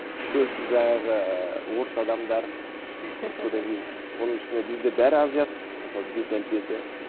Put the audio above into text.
көбісі жаңағы орыс адамдар содан кейін оның үстіне бізде бәрі азиат мысалы бет әлпеті